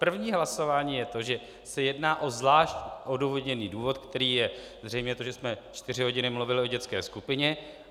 První hlasování je to, že se jedná o zvlášť odůvodněný důvod, kterým je zřejmě to, že jsme čtyři hodiny mluvili o dětské skupině.